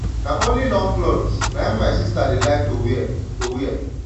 na only long cloths na im my sister dey like to wear to wear